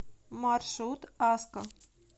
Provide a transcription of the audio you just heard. маршрут аско